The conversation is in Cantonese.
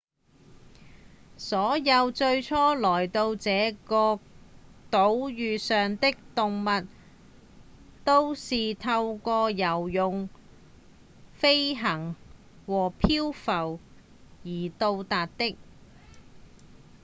所有最初來到這個島嶼上的動物都是透過游泳、飛行或漂浮而到達的